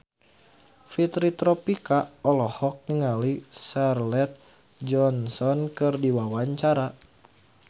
Fitri Tropika olohok ningali Scarlett Johansson keur diwawancara